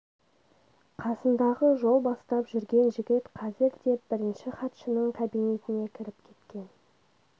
қасындағы жол бастап жүрген жігіт қазір деп бірінші хатшының кабинетіне кіріп кеткен